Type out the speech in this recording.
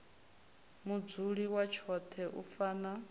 mudzuli wa tshoṱhe u fana